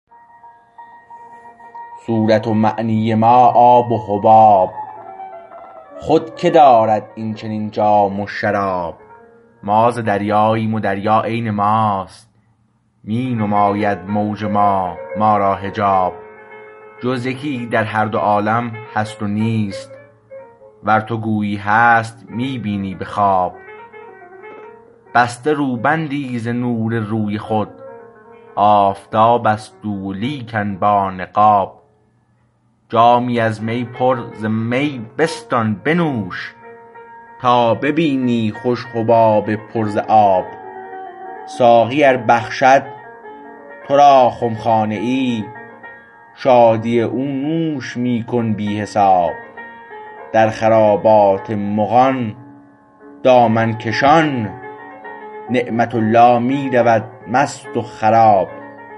صورت و معنی ما آب و حباب خود که دارد این چنین جام و شراب ما ز دریاییم و دریا عین ماست می نماید موج ما ما را حجاب جز یکی در هر دو عالم هست نیست ور تو گویی هست می بینی به خواب بسته روبندی ز نور روی خود آفتابست او و لیکن با نقاب جامی از می پر ز می بستان بنوش تا ببینی خوش حباب پر ز آب ساقی ار بخشد تو را خمخانه ای شادی او نوش می کن بی حساب در خرابات مغان دامنکشان نعمت الله می رود مست و خراب